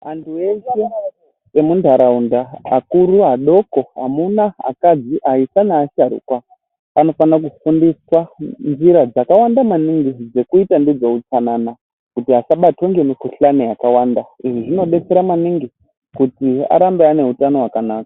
Antu eshe nemuntaraunda ,akuru adoko, amuna ,akadzi, aisa neasharuka, anofana kufundiswa njira dzakawanda maningi dzekuita ndidzo utsanana kuti asabatwa ngemikhuhlani yakawanda. Izvi zvinodetsera maningi ,kuti arambe ane utano hwakanaka .